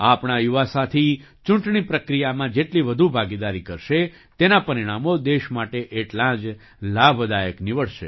આપણા યુવા સાથી ચૂંટણી પ્રક્રિયામાં જેટલી વધુ ભાગીદારી કરશે તેનાં પરિણામો દેશ માટે એટલાં જ લાભદાયક નિવડશે